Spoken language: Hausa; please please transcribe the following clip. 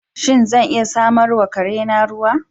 Shin, zan iya samar wa kare na ruwa?